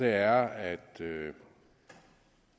er at